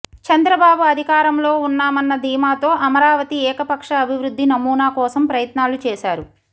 చంద్రబాబు అధికారంలో ఉన్నామన్న ధీమాతో అమరావతి ఏకపక్ష అభివృద్ధి నమూనా కోసం ప్రయత్నాలు చేశారు